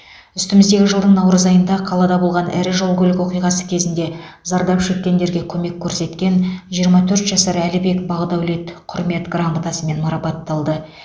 үстіміздегі жылдың наурыз айында қалада болған ірі жол көлік оқиғасы кезінде зардап шеккендерге көмек көрсеткен жиырма төрт жасар әлібек бақдәулет құрмет грамотасымен марапатталды